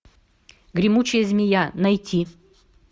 гремучая змея найти